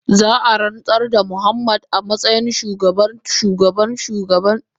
Za a ransar da Muhammad a matsayin babban shugaban kungiyar dodo.